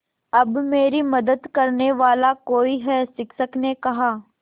अब मेरी मदद करने वाला कोई है शिक्षक ने कहा